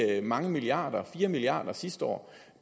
at de mange milliarder fire milliard kroner sidste år